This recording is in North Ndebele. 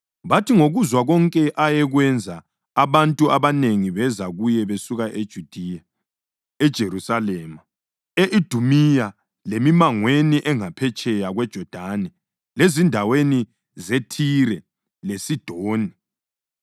Bathi ngokuzwa konke ayekwenza abantu abanengi beza kuye besuka eJudiya, eJerusalema, e-Idumiya lemimangweni engaphetsheya kweJodani lezindaweni zeThire leSidoni.